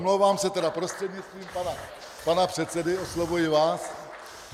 Omlouvám se tedy, prostřednictvím pana předsedy oslovuji vás.